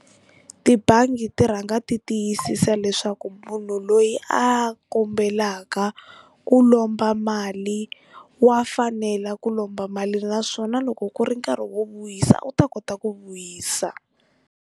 Tibangi ti rhanga ti tiyisisa leswaku munhu loyi a kombelaka ku lomba mali wa fanela ku lomba mali naswona loko ku ri nkarhi wo vuyisa u ta kota ku vuyisa.